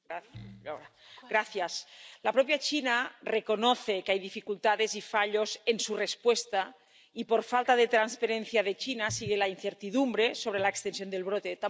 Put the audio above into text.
Señora presidenta, la propia China reconoce que hay dificultades y fallos en su respuesta y, por la falta de transparencia de China, sigue la incertidumbre sobre la extensión del brote.